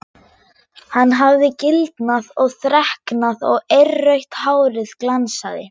Hann hafði gildnað og þreknað og eirrautt hárið glansaði.